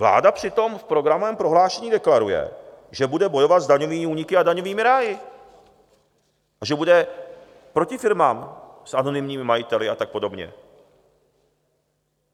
Vláda přitom v programovém prohlášení deklaruje, že bude bojovat s daňovými úniky a daňovými ráji a že bude proti firmám s anonymními majiteli a tak podobně.